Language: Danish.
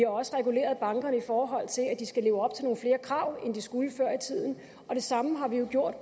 også reguleret bankerne i forhold til at de skal leve op til nogle flere krav end de skulle før i tiden og det samme har vi jo gjort